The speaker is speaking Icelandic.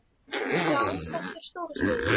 Já, þetta er stóra sviðið.